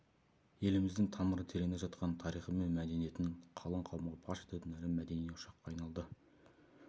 еліміздің тамыры тереңде жатқан тарихы мен мәдениетін қалың қауымға паш ететін ірі мәдени ошаққа айналды